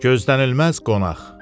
Gözlənilməz qonaq.